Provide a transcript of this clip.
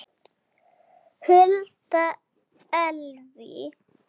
Hulda Elvý.